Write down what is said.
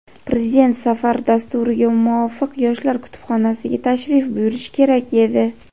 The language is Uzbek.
Prezident safar dasturiga muvofiq yoshlar kutubxonasiga tashrif buyurish kerak edi.